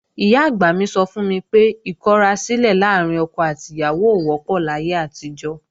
Ìyá-àgbà mi sọ fún mi pé ìkọrasílẹ̀ láàrín ọkọ àti ìyàwó ò wọ́pọ̀ láyé àtijọ́